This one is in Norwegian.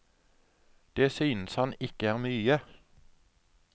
Det synes han ikke er mye.